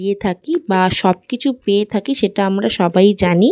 গিয়ে থাকি বা সব কিছু পেয়ে থাকি সেটা আমরা সবাই জানি--